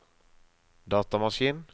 datamaskin